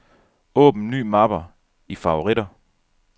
Åbn ny mappe i favoritter.